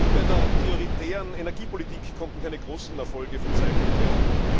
Auch bei der prioritären Energiepolitik konnten keine großen Erfolge verzeichnet werden.